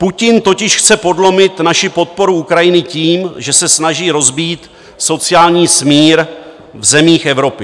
Putin totiž chce podlomit naši podporu Ukrajiny tím, že se snaží rozbít sociální smír v zemích Evropy.